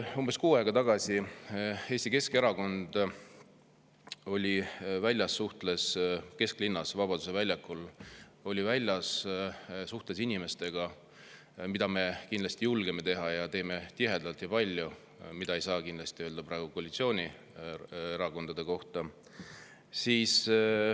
Umbes kuu aega tagasi oli Eesti Keskerakond väljas kesklinnas ja Vabaduse väljakul, suhtles inimestega, mida meie julgeme teha ning teeme tihedalt ja palju, aga mida ei saa kindlasti öelda praeguste koalitsioonierakondade kohta.